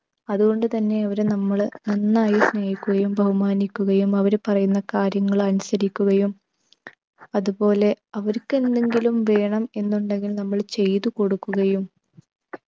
അതുകൊണ്ടു തന്നെ അവരെ നമ്മൾ നന്നായി സ്നേഹിക്കുകയും അവര് പറയുന്ന കാര്യങ്ങൾ അനുസരിക്കുകയും അതുപോലെ അവർക്കെന്തെങ്കിലും വേണം എന്നുണ്ടെങ്കിൽ നമ്മൾ ചെയ്തുകൊടുക്കുകയും